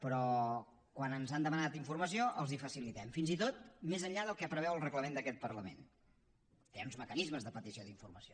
però quan ens han demanat informació els la facilitem fins i tot més enllà del que preveu el reglament d’aquest parlament que hi ha uns mecanismes de petició d’informació